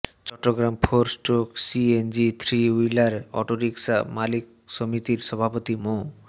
Chittagong four stroke CNG three wheeler auto rickshaw মালিক সমিতির সভাপতি মো